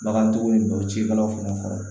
Bagantigiw ye dɔw cikɛlaw fana kɔrɔ